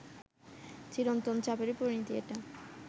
চিরন্তন চাপেরই পরিণতি এটা